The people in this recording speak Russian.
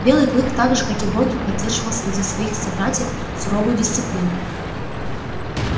белый клык так же как и боги поддерживал среди своих собратьев суровую дисциплину